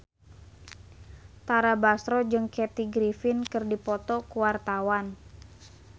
Tara Basro jeung Kathy Griffin keur dipoto ku wartawan